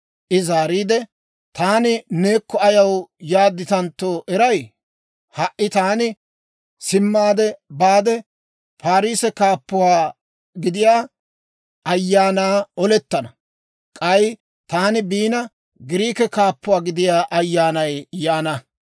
I zaariide, «Taani neekko ayaw yaadditantto eray? Ha"i taani simmaade baade, Parisse kaappuwaa gidiyaa ayaanaana olettana; k'ay taani biina, Giriike kaappuwaa gidiyaa ayyaanay yaana.